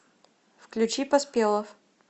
включи поспелов